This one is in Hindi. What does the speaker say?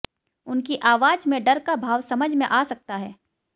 उनकी आवाज में डर का भाव समझ में आ सकता है